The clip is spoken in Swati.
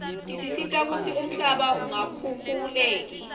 tisita kutsi umhlaba ungakhukhuleki